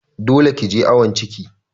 Dole ki je awon ciki!